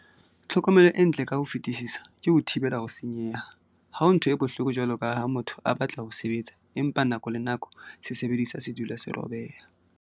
Tlhokomelo e ntle ka ho fetisisa ke ho thibela ho senyeha. Ha ho ntho e bohloko jwalo ka ha motho a batla ho sebetsa empa nako le nako sesebediswa se dula se robeha.